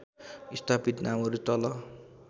स्थापित नामहरू तल